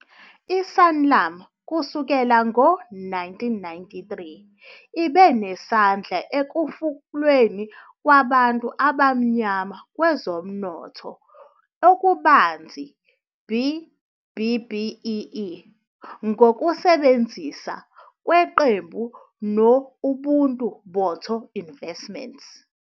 I-Sanlam kusukela ngo-1993 ibe nesandla ekufukulweni kwabantu abamnyama kwezomnotho okubanzi, B-BBEE, ngokusebenzisana kweqembu no-Ubuntu-Botho Investments.